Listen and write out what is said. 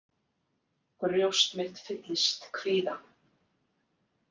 Brjóst mitt fyllist kvíða.